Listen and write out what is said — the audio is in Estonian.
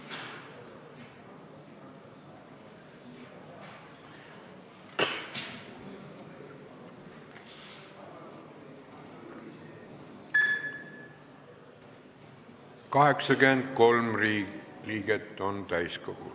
Kohaloleku kontroll 83 liiget on täiskogul.